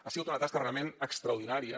ha sigut una tasca realment extraordinària